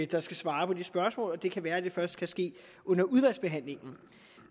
der skal svare på det spørgsmål og det kan være at det først kan ske under udvalgsbehandlingen